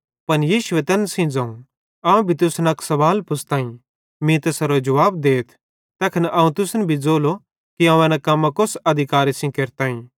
पन यीशुए तैन सेइं ज़ोवं अवं भी तुसन अक सवाल पुछ़तईं मीं तैसेरो जुवाब देथ तैखन अवं भी तुसन ज़ोलो कि अवं एन कम्मां कोस अधिकारे सेइं केरतईं